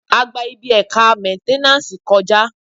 A gba ibi ẹ̀ka mẹ́nténàsì kọ̀já